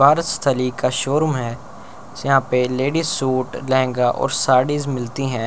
बारहस्थली का शोरूम है यहां पर लेडीज सूट लेहंगा और साडी मिलती है।